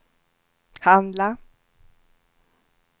handla